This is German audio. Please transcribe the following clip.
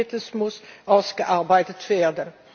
Konkretes muss ausgearbeitet werden.